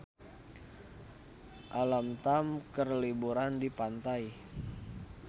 Alam Tam keur liburan di pantai